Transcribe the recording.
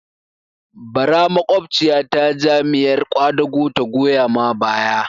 Bara makwabciya ta Jam'iyar ƙwadago ta goya ma baya